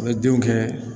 A bɛ denw kɛ